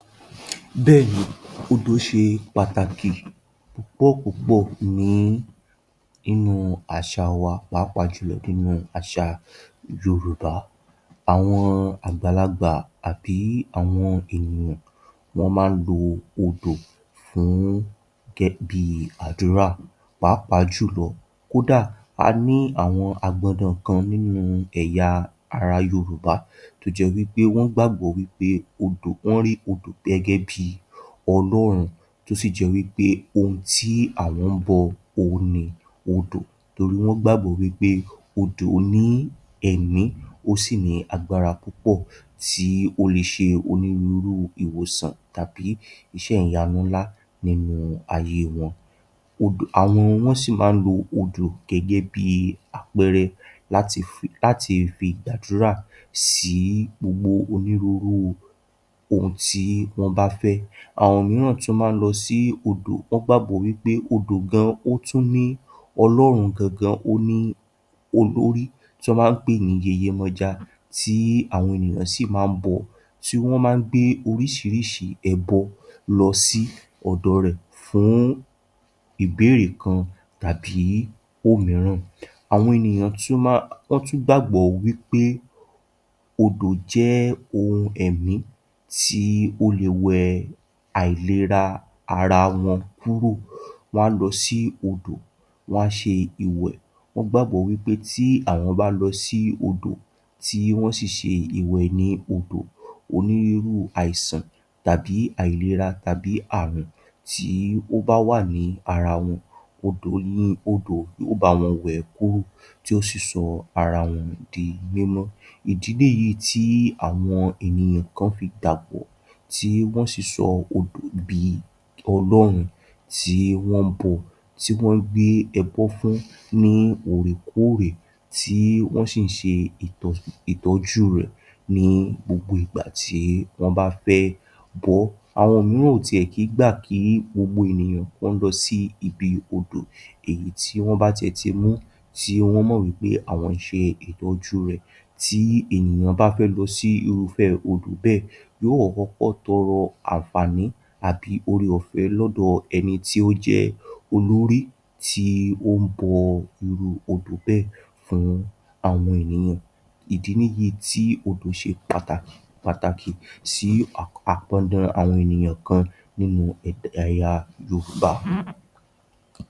Bẹ́èni, odò ṣe pàtàkì púpọ̀púpọ̀ ní inú àṣà wa pàápàá júlọ nínú àṣà yorùbá. Àwọn àgbàlagbà àbí àwọn ènìyàn wọ́n ma ń lo odò fún gẹ́, bi àdúrà pàápàá jùlọ kódà a ní àwọn àgbọdọ̀ kan nínu ẹ̀ya ara yorùbá tó jẹ́ wí pé wọ́n gbàgbọ́ wí pé odò, wọ́n rí odò gẹ́gẹ́ bíi Ọlọrun tó sì jẹ́ wí pé ohun tí àwọn ńbọ òhun ni odò torí wọ́n gbàgbọ́ wí pé odò ní ẹ̀mí, ó sì ní agbára pupọ̀ tí ó le ṣe onírúurú ìwòsàn tàbí iṣẹ́ ìyanu ńlá nínú ayé wọn. Odò, àwọn, wọ́n sì ma ń lo odò gẹ́gẹ́ bíi àpẹẹrẹ láti fi, láti fi gbàdúrà sí gbogbo onírúurúu ohun tí wọ́n bá fẹ́. Àwọn míràn tún ma ń lọ sí odò, wọ́n gbàgbọ́ wí pé odò gan ó tún ní Ọlọrun gangan ó ní olórí tí wọ́n ma ńpè ní yèyèmọja tí àwọn ènìyàn sì ma ń bọ, tí wọ́n ma ń gbé oríṣiríṣi ẹbọ lọ sí ọ̀dọ rẹ̀ fún ìbéèrè kan tàbí òmíràn. Àwọn ènìyàn tún ma, wọ́n tún gbàgbọ́ wí pé odò jẹ́ ohun ẹ̀mí tí ó le wẹ àìlera ara wọn kúrò. Wọ́n a lọ sí odò, wọ́n á ṣe ìwẹ̀, wọ́n gbàgbọ́ wí pé tí àwọn bá lọ sí odò tí wọ́n sì ṣe ìwẹ̀ ní odò, onírirú àìsàn tàbí àìlera tàbí ààrùn tí ó bá wà ní ara wọn, odò ni, odò yó bá wọn wè ẹ́ kúrò tí ó sì sọ ara wọn di mímọ́. Ìdí nìyíì tí àwọn ènìyàn kan fi gbàgbọ́ tí wọ́n sì odò bi Ọlọrun tí wọ́n ńbọ, tí wọ́n ngbé ẹbọ́ fún ní òòrèkóòrè tí wọ́n sì ńṣe ìtọ̀, ìtọ̀jú rẹ̀ ní gbogbo ìgbà tí wọ́n bá fẹ́ bọ ọ́. Àwọn mìíran ò tíẹ̀ kí gbà kí gbogbo ènìyàn kí wọ́n lọ sí ibi odò èyí tí wọ́n bá tiẹ̀ ti mú tí wọ́n mọ̀ wí pé àwọn ń ṣe ìtọ́jú rẹ̀, tí ènìyàn bá fẹ́ lọ sí irúfẹ́ odò bẹ́ẹ̀, yóò kọ̀kọ́kọ́ tọrọ àǹfààní àbí oore-ọ̀fẹ́ lọ́dọ̀ ẹni tí ó jẹ́ olórí tí ó ń bọ irú odò bẹ́ẹ̀ fún àwọn ènìyàn. Ìdí nìyíì tí odò ṣe pàtà, pàtàkì sí à, àpọ́ndan àwọn ènìyan kan nínu ẹ̀ya yorùbá.